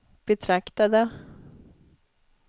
betraktade